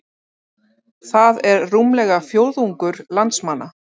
Það er rúmlega fjórðungur landsmanna